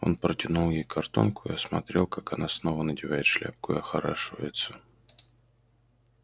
он протянул ей картонку и смотрел как она снова надевает шляпку и охорашивается